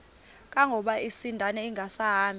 kangangokuba isindane ingasahambi